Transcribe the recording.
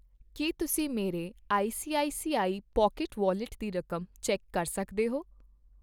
ਕੀ ਤੁਸੀਂਂ ਮੇਰੇ ICICI pocket wallet ਦੀ ਰਕਮ ਚੈੱਕ ਕਰ ਸਕਦੇ ਹੋ ?